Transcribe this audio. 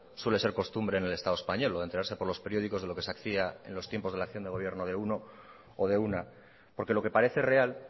suele ser costumbre en el estado español lo de enterarse por los periódicos de lo que se hacía en los tiempos de la acción de gobierno de uno o de una porque lo que parece real